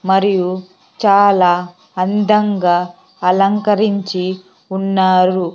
మరియు చాలా అందంగా అలంకరించి ఉన్నారు.